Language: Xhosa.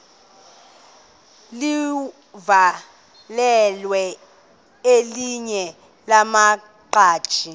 livakele elinye lamaqhaji